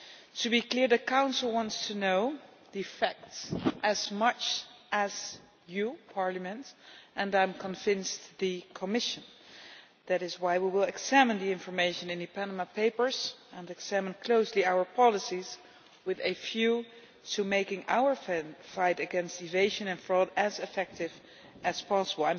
To be clear, the Council wants to know the facts as much as you, Parliament, and I am convinced the Commission. That is why we will examine the information in the Panama Papers and examine closely our policies with a view to making our fight against evasion and fraud as effective as possible.